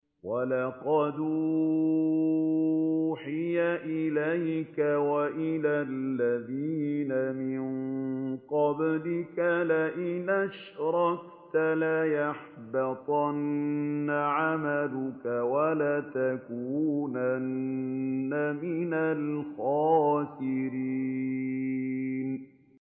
وَلَقَدْ أُوحِيَ إِلَيْكَ وَإِلَى الَّذِينَ مِن قَبْلِكَ لَئِنْ أَشْرَكْتَ لَيَحْبَطَنَّ عَمَلُكَ وَلَتَكُونَنَّ مِنَ الْخَاسِرِينَ